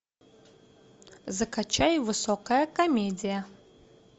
закачай высокая комедия